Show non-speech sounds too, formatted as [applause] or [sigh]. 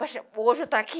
[unintelligible] Hoje eu estou aqui.